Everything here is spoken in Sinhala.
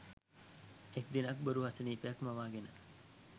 එක් දිනක් බොරු අසනීපයක් මවාගෙන